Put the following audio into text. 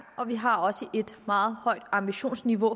og vi har også et meget højt ambitionsniveau